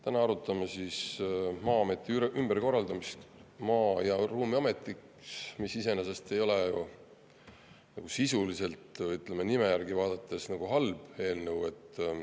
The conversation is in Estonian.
Täna arutame Maa-ameti ümberkorraldamist Maa- ja Ruumiametiks, mis iseenesest ei ole ju sisuliselt, ütleme, nime järgi otsustades nagu halb eelnõu.